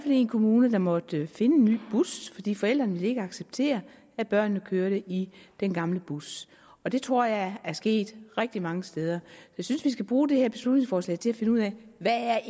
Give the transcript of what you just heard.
en kommune der måtte finde en ny bus fordi forældrene ikke ville acceptere at børnene kørte i den gamle bus og det tror jeg er sket rigtig mange steder jeg synes vi skal bruge det her beslutningsforslag til at finde ud af hvad